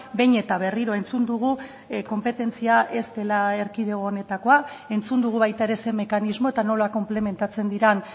behin eta berriro entzun dugu konpetentzia ez dela erkidego honetakoa entzun dugu baita ere zein mekanismo eta nola konplementatzen diren